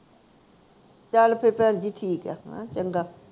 ਚੱਲ ਫੇਰ ਭੈਣ ਜੀ ਠੀਕ ਆ ਹੈ ਚੰਗਾ